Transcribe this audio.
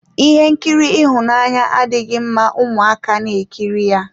Ihe nkiri ịhụnanya adịghị mma ụmụaka na ekiri ya.